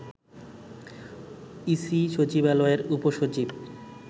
EC সচিবালয়ের উপসচিব